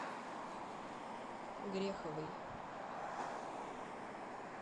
греховой